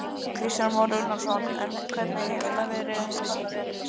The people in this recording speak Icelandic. Kristján Már Unnarsson: En hvernig hefur það verið undanfarna vetur?